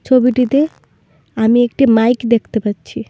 ছবিটিতে আমি একটি মাইক দেখতে পাচ্ছি।